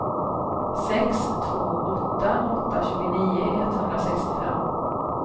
sex två åtta åtta tjugonio etthundrasextiofem